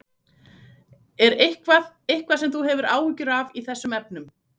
Er eitthvað, eitthvað sem þú hefur áhyggjur af í þessum efnum?